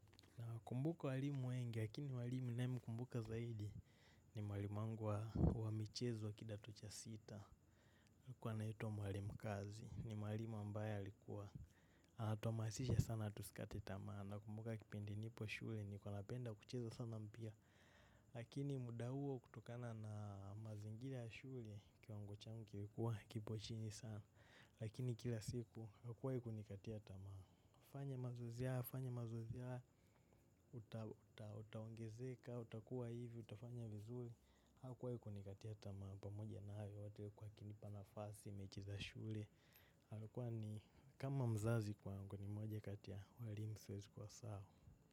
Nakumbuka walimu wengi lakini mwalimu ninaye mkumbuka zaidi ni mwalimu wangu wa michezo wa kidato cha sita. Alikuwa anaitwa mwalimu Kazi. Ni walimu ambaye alikuwa. Alituhamasisha sana tusikate tamaa. Nakumbuka kipindi nipo shule nilikuwa napenda kucheza sana mpira. Lakini muda huo kutokana na mazingira ya shule kiwango changu kilikuwa kipo chini sana lakini kila siku hakuwahi nikatia tamaa. Fanya mazoezi haya utaongezeka, utakuwa hivi, utafanya vizuri. Hakuwahi kunikatia tamaa pamoja na hayo yote huku akinipa nafasi, mechi za shule. Alikuwa ni kama mzazi kwangu kwa kuwa ni moja kati walimu siwezi kuwasahau.